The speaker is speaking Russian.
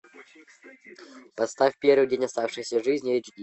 поставь первый день оставшейся жизни эйч ди